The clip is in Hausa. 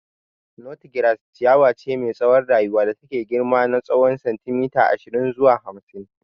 Nut grass ciyawa ce mai tsawon rayuwa da take iya girma na tsowon sentimeta ashirin zuwa hamsin.